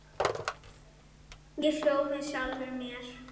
Ég hló með sjálfum mér.